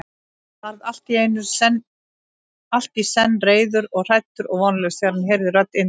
Hann varð allt í senn reiður og hræddur og vonlaus, þegar hann heyrði rödd Indverjans.